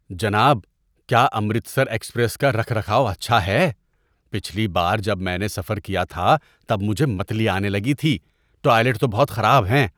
جناب، کیا امرتسر ایکسپریس کا رکھ رکھاؤ اچھا ہے؟ پچھلی بار جب میں نے سفر کیا تھا تب مجھے متلی آنے لگی تھی۔ ٹوائلٹ تو بہت خراب ہیں۔